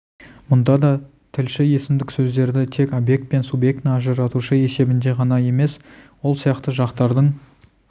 мұнда да тілші есімдік сөздерді тек объект пен субъектіні ажыратушы есебінде ғана емес сол сияқты жақтардың